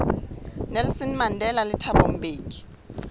nelson mandela le thabo mbeki